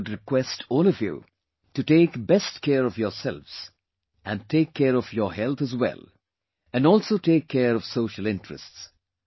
I would request all of you to take best care of yourselves and take care of your health as well and also take care of social interests